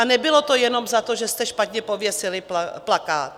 A nebylo to jenom za to, že jste špatně pověsili plakát.